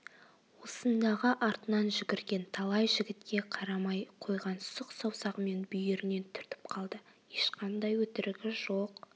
осындағы артынан жүгірген талай жігітке қарамай қойған сұқ саусағымен бүйірінен түртіп қалды ешқандай өтірігі жоқ